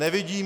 Nevidím...